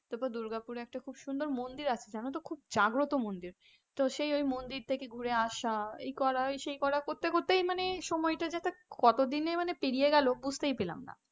তারপরে দুর্গাপুরে একটা খুব সুন্দর মন্দির আছে জানো তো? খুব জাগ্রত মন্দির তো সেই মন্দির থেকে ঘুরে আসা এই করা সেই করা করতে করতে মানে সময়টা যাতে কতদিনে যে পেরিয়ে গেল বুঝতেই পেলাম না.